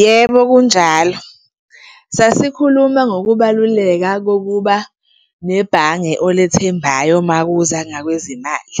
Yebo, kunjalo. Sasikhuluma ngokubaluleka kokuba nebhange olethembayo uma kuza ngakwezemali